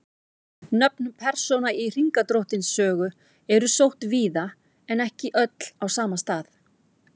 Nöfn persóna í Hringadróttinssögu eru sótt víða en ekki öll á sama stað.